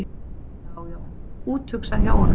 Já, já, úthugsað hjá honum!